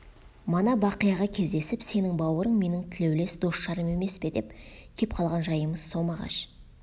мана бақияға кездесіп сенің бауырың менің тілеулес дос-жарым емес пе деп кеп қалған жайымыз со мағаш